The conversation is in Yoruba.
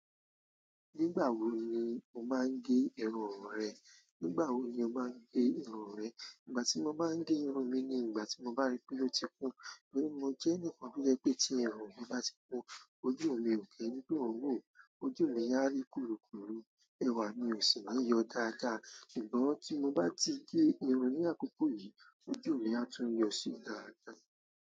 Nígbà wo ni o máa ń gé irun rẹ? Nígbà wo ni o máa ń gé irun rẹ? Ìgbà tí mo máa ń gé irun mi ni ìgbà tí mo bá rí pé ó ti kún. Nítorí mo jẹ́ ẹnìkan bíi ẹ pé tí irun mi bá ti kún, ojú mi ò lè ròkè nínú òun wò. Ojú mi a rí korokoro, ẹwà mi ò sì máa yọ dáadáa. Ṣùgbọ́n tí mo bá ti gé irun ní àkókò yìí, ojú mi a tún yọ sí dáadáa.